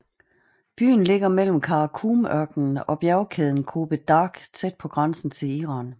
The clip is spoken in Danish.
Byen ligger mellem Kara Kum ørkenen og bjergkæden Kopet Dag tæt på grænsen til Iran